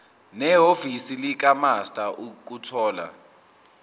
nehhovisi likamaster ukuthola